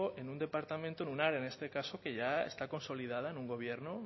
en un departamento en un área en este caso que ya está consolidada en un gobierno